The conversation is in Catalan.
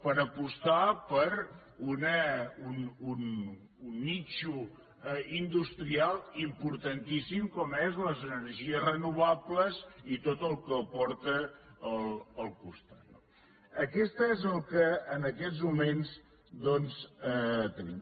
per apostar per un nínxol industrial importantíssim com són les energies renovables i tot el que porta al costat no això és el que en aquests moments doncs tenim